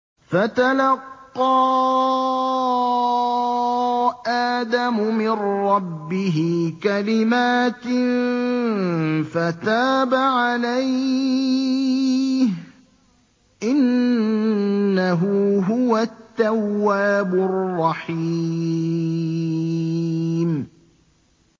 فَتَلَقَّىٰ آدَمُ مِن رَّبِّهِ كَلِمَاتٍ فَتَابَ عَلَيْهِ ۚ إِنَّهُ هُوَ التَّوَّابُ الرَّحِيمُ